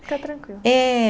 Fica tranquila. É.